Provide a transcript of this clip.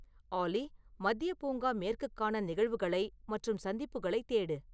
ஆலி மத்திய பூங்கா மேற்குக்கான நிகழ்வுகளை மற்றும் சந்திப்புகளைத் தேடு